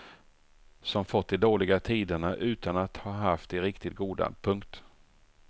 Som fått de dåliga tiderna utan att ha haft de riktigt goda. punkt